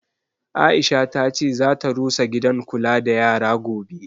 Aisha ta ce zata rusa gidan kula da yara gobe